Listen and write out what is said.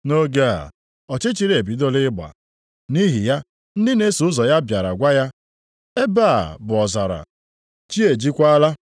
Nʼoge a, ọchịchịrị ebidola ịgba, nʼihi ya, ndị na-eso ụzọ ya bịara gwa ya, “Ebe a bụ ọzara, chi ejiekwala.